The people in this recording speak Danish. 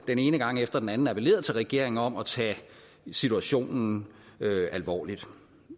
den ene gang efter den anden appelleret til regeringen om at tage situationen alvorligt